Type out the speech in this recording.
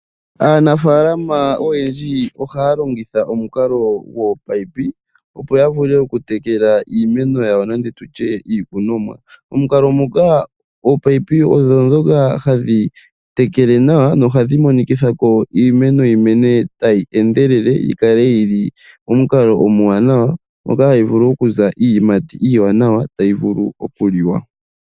Aanafaalama oyendji ohaya longitha omukalo gominino opo ya vule okutekela iimeno yawo nenge tutye iikunomwa. Omukalo muka ominino odho ndhoka hadhi tekele nawa nohadhi monikitha ko iimeno yi mene tayi endelele yi kale yili momukalo omwaanawa ngoka hayi vulu okuza iiyimati iiwanawa tayi vulu okuliwa.